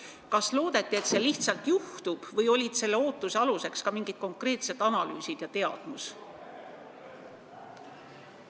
Kas lihtsalt loodeti, et see juhtub, või olid selle ootuse aluseks ka mingid konkreetsed analüüsid ja teadmus?